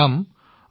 ধন্যবাদ